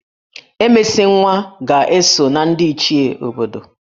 Emesinwa ga-eso na ndị Ichie obodo